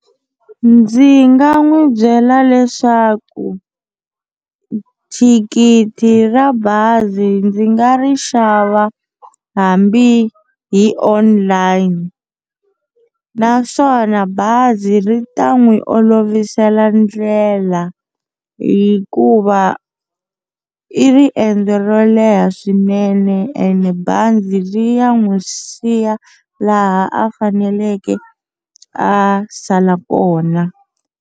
Ndzi nga n'wi byela leswaku thikithi ra bazi ndzi nga ri xava hambi hi online naswona bazi ri ta n'wi olovisela ndlela hikuva i riendzo ro leha swinene ene bazi ri ya n'wi siya laha a faneleke a sala kona.